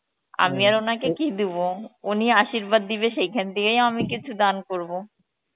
আমি আর ওনাকে কি দিব, উনি আসিবাদ দিবে সেইখান থেকেই আমি কিছু দান করবো